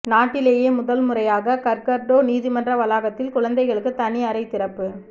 நாட்டிலேயே முதல்முறையாக கர்கர்டோ நீதிமன்ற வளாகத்தில் குழந்தைகளுக்கு தனி அறை திறப்பு